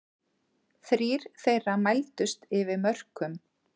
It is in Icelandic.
Þrír þeirra mældust yfir mörkum